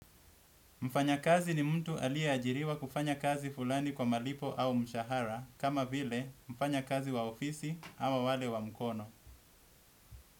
Mfanyakazi ni mtu aliyeajiriwa kufanya kazi fulani kwa malipo au mshahara kama vile mfanyakazi wa ofisi ama wale wa mkono.